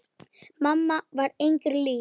Mamma var engri lík.